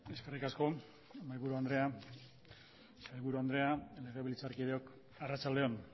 eskerrik asko mahaiburu andrea sailburu andrea legebiltzarkideok arratsalde on